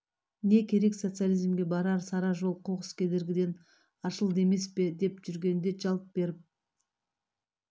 не керек социализмге барар сара жол қоқыс кедергіден аршылды емес пе деп жүргенде жалт беріп